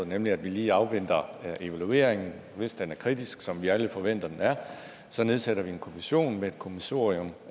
nemlig at vi lige afventer evalueringen hvis den er kritisk som vi alle forventer at den er så nedsætter en kommission med et kommissorium